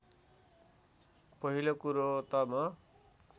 पहिलो कुरो त म